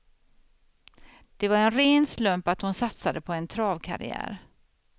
Det var en ren slump att hon satsade på en travkarriär.